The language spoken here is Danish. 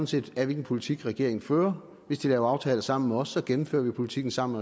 set af hvilken politik regeringen fører hvis de laver aftaler sammen med os gennemfører vi politikken sammen